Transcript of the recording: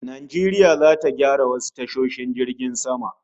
Najeriya zata gyara wasu tashoshin jiragen sama